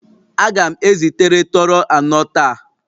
Aga m ezitere Toro anọ taa